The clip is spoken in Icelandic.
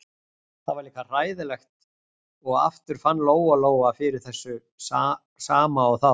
Það var líka hræðilegt og aftur fann Lóa-Lóa fyrir þessu sama og þá.